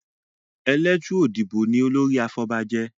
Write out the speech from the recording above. Eletu Odibo ní olórí àfobajé.